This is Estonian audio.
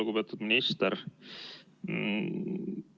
Lugupeetud minister!